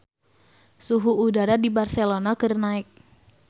Suhu udara di Barcelona keur naek